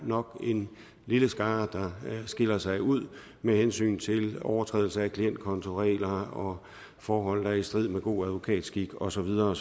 nok er en lille skare der skiller sig ud med hensyn til overtrædelse af klientkontoregler og forhold der er i strid med god advokatskik og så videre